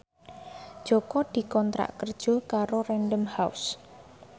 Jaka dikontrak kerja karo Random House